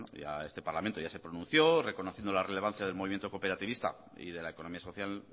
ya este parlamento ya se pronunció reconociendo la relevancia del movimiento cooperativista y de la economía social